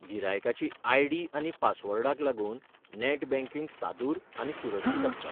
गिरायकाची ID. आनी पासवर्डाक लागून नॅट बँकिंग सादूर आनी सुरक्षीत आसता.